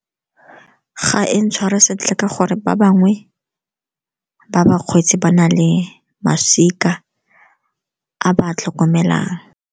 Ga e ntshware sentle, ka gore ba bangwe ba bakgweetsi ba na le masika a ba a tlhokomelang.